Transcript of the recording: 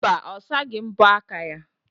Mba, ọ saghị mbọ aka ya.